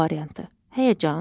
A variantı: Həyəcan.